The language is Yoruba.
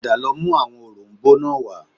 Padà lọ mú àwọn òrom̀bó náà wá